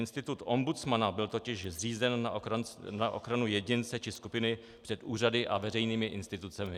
Institut ombudsmana byl totiž zřízen na ochranu jedince či skupiny před úřady a veřejnými institucemi.